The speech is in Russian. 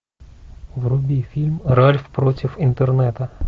вруби фильм ральф против интернета